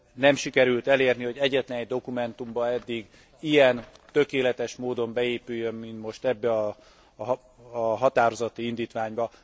Nem sikerült elérni, hogy egyetlen egy dokumentumba eddig ilyen tökéletes módon beépüljön, mint most ebbe a határozati indítványba.